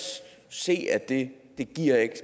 se at det ikke giver